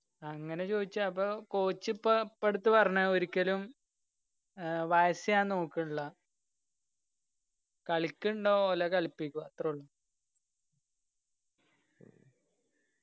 അങ്ങനെ ചോയ്ച്ച അപ്പൊ coach ഇപ്പൊ ഇപ്പടുത്ത പറഞ്ഞാ ഒരിക്കലും ഏർ വയസ്സ് ഞാൻ നോക്കില്ല കളിക്കിണ്ടോ ഓല കലിപ്പിക്കുക അത്രുള്ളു